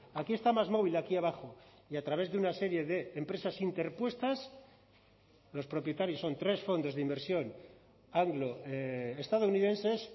aquí está másmovil aquí abajo y a través de una serie de empresas interpuestas los propietarios son tres fondos de inversión estadounidenses